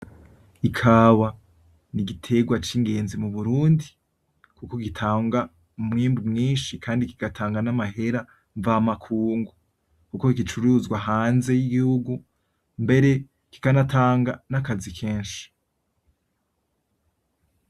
Ikawa ni igiterwa cingenzi mu burundi, kuko gitanga umwimbu mwinshi. Kandi kigatanga n'amahera mvamakungu kuko gicuruzwa hanze y'igihugu mbere kikanatanga nakazi kenshi.